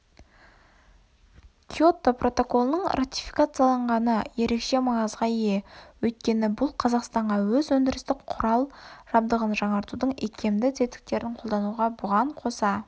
киото протоколының ратификацияланғаны ерекше маңызға ие өйткені бұл қазақстанға өз өндірістік құрал-жабдығын жаңартудың икемді тетіктерін қолдануға бұған қоса